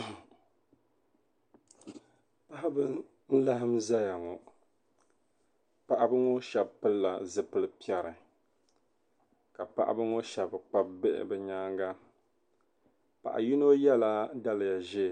baɣiba n-laɣim zaya ŋɔ paɣiba ŋɔ shɛba pilila zipil' piɛri ka paɣiba ŋɔ shɛba kpabi bihi bɛ nyaaŋga paɣa yino yɛla daliya ʒee